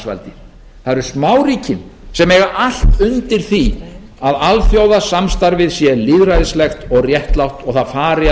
það eru smáríkin sem eiga allt undir því að alþjóðasambandið sé lýðræðislegt og réttlátt og það fari að